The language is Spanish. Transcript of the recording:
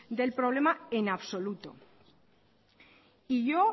del problema en absoluto y yo